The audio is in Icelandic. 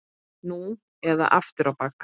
Nú eða aftur á bak!